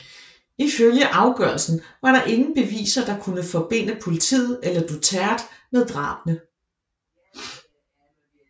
Ifølge afgørelsen var der ingen beviser der kunne forbinde politiet eller Duterte med drabene